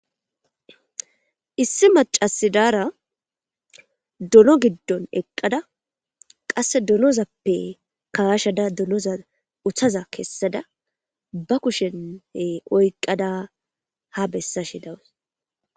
issi macasidaara dono giddon eqqada qasse donozappe kaashada donoza uthaza kessada ba kushen oyqada ha bessashe dawus